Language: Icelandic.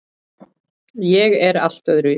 Ég er allt öðruvísi.